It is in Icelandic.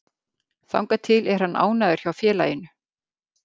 Þangað til er hann ánægður hjá félaginu.